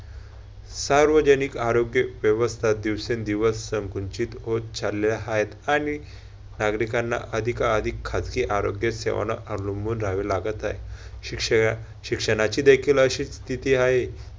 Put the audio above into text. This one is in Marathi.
सार्वजनिक आरोग्य व्यवस्था दिवसेंदिवस संकुचित होत चालले हायत, आणि नागरिकांना अधिकाधिक खाजगी आरोग्य सेवेना अवलंबून राहावे लागत आहे. शिक्षयशिक्षणाचीही देखील अशी स्थिती हाय.